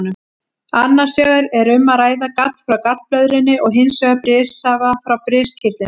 Annars vegar er um að ræða gall frá gallblöðrunni og hins vegar brissafa frá briskirtlinum.